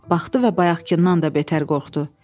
Baxdı və bayaqkından da betər qorxdu.